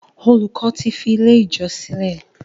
Olùkó tí fí ilẹ̀ ijọ sílè.